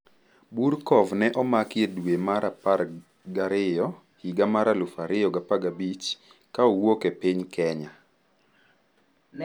Burkov ne omaki e dwe mar apar gi ariyo higa mar 2015 ka owuok e piny Kenya.